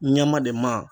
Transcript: Ɲɛma de ma